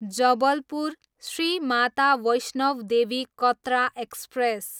Jabalpur, Shri Mata Vaishno Devi Katra express